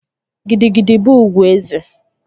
Gidi gidi bụ ugwu eze